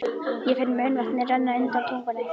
Ég finn munnvatnið renna undan tungunni.